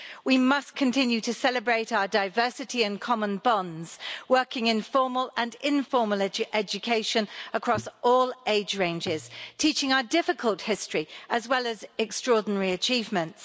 We must continue to celebrate our diversity and common bonds, working in formal and informal education across all age ranges, teaching our difficult history as well as extraordinary achievements.